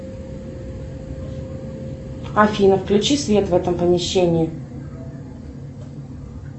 афина включи свет в этом помещении